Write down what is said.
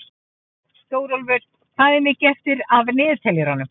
Stórólfur, hvað er mikið eftir af niðurteljaranum?